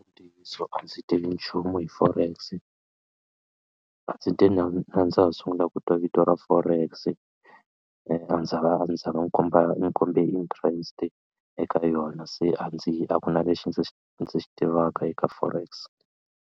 Ntiyiso a ndzi tivi nchumu hi forex ndzi te na ndza ha sungula ku twa vito ra forex a ndzi zanga a ni zanga ni komba ni kombe interest eka yona se a ndzi a ku na lexi ndzi xi ndzi xi tivaka eka forex.